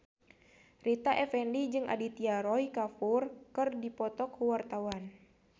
Rita Effendy jeung Aditya Roy Kapoor keur dipoto ku wartawan